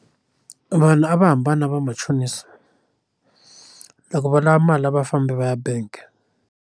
Vanhu a va hambana vamachonisi loko va lava mali a va fambi va ya bank.